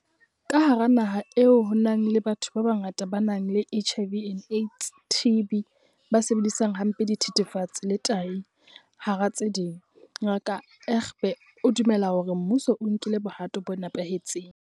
Ka hara naha eo ho nang le batho ba bangata ba nang le HIV and AIDS, TB, ba sebedisang hampe dithethefatsi le tahi, hara tse ding, Ngaka Egbe o dumela hore mmuso o nkile bohato bo nepahetseng.